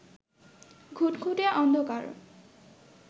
ঘুটঘুটে অন্ধকার